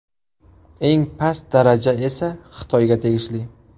Eng past daraja esa Xitoyga tegishli.